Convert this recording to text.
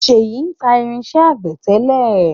ṣeyi ń ta irinsẹ́ àgbẹ̀ tẹ́lẹ̀